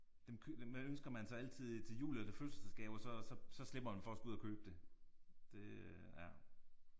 Dem dem ønsker man sig altid til jul eller til fødselsdagsgave og så så så slipper man for at skulle ud og købe det. Det øh ja